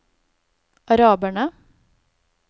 araberne